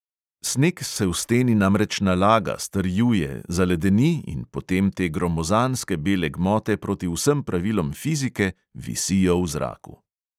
Sneg se v steni namreč nalaga, strjuje, zaledeni in potem te gromozanske bele gmote proti vsem pravilom fizike visijo v zraku …